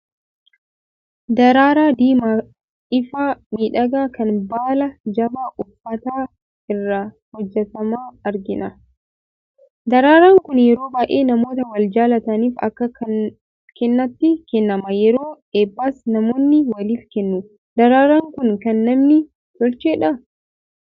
Daraaraa diimaa ifaa miidhagaa kan baala jabaa uffata irraa hojjetame argina. Daraaraan kun yeroo baay'ee namoota wal jaalataniif akka kennaatti kennama. Yeroo eebbaas namoonni waliif kennu. Daraaraan kun kan namni tolchedhaa?